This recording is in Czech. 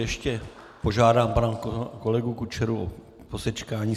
Ještě požádám pana kolegu Kučeru o posečkání.